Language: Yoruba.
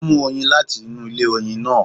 Ó mú oyin láti inú ilé oyin náà.